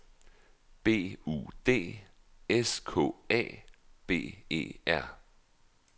B U D S K A B E R